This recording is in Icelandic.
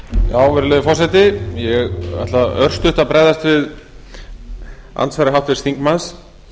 virðulegi forseti ég ætla örstutt að bregðast við andsvari háttvirts þingmanns